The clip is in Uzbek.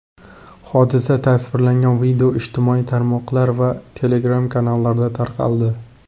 Hodisa tasvirlangan video ijtimoiy tarmoqlar va Telegram-kanallarda tarqaldi.